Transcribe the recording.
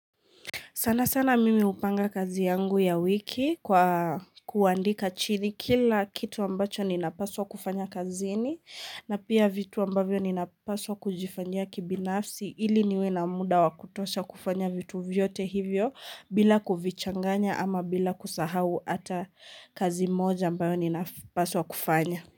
Sana sana mimi hupanga kazi yangu ya wiki kwa kuandika chini kila kitu ambacho ninapaswa kufanya kazini na pia vitu ambavyo ninapaswa kujifanyia kibinafsi ili niwe na muda wakutosha kufanya vitu vyote hivyo bila kuvichanganya ama bila kusahau hata kazi moja ambayo ninapaswa kufanya.